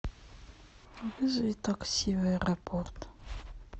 вызови такси в аэропорт